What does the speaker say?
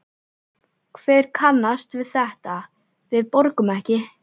Hver kannast við þetta, við borgum ekki?